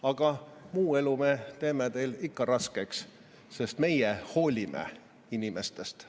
Aga muu elu me teeme teil ikka raskeks, sest meie hoolime inimestest.